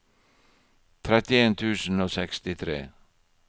trettien tusen og sekstitre